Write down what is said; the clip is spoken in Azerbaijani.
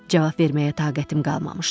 Cavab verməyə taqətim qalmamışdı.